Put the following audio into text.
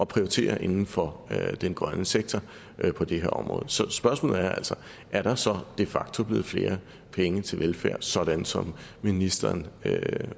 prioritere inden for den grønne sektor på det her område så spørgsmålet er altså er der så de facto blevet flere penge til velfærd sådan som ministeren